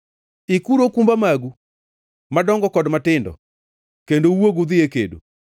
“Ikuru okumba magu, madongo kod matindo, kendo uwuog udhi e kedo!